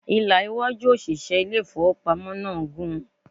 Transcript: Ìlà iwájú òṣìṣẹ́ ilé ìfowópamọ́ náà gùn.